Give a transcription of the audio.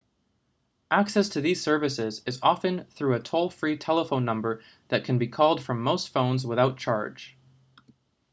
access to these services is often through a toll-free telephone number that can be called from most phones without charge